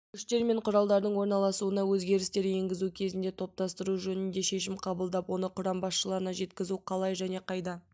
күштер мен құралдардың орналасуына өзгерістер енгізу кезінде топтастыру жөнінде шешім қабылдап оны құрам басшыларына жеткізу қалай және қайда